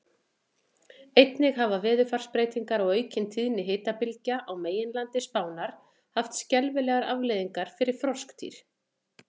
Einnig hafa veðurfarsbreytingar og aukin tíðni hitabylgja á meginlandi Spánar haft skelfilegar afleiðingar fyrir froskdýr.